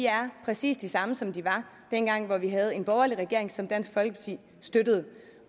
er præcis de samme som de var dengang vi havde en borgerlig regering som dansk folkeparti støttede